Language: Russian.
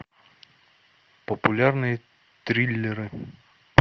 популярные триллеры